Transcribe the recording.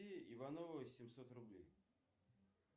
ивановой семьсот рублей